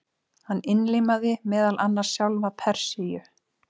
Hann innlimaði meðal annars sjálfa Persíu.